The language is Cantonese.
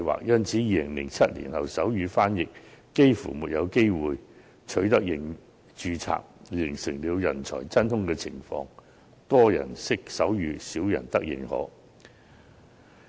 因此，在2007年後，手語傳譯員幾乎沒有註冊機會，形成了人才真空情況：多人識手語，少人得認可。